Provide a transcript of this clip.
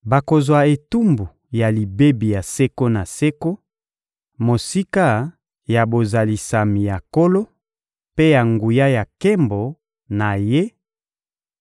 Bakozwa etumbu ya libebi ya seko na seko, mosika ya bozalisami ya Nkolo mpe ya nguya ya nkembo na Ye